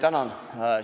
Tänan!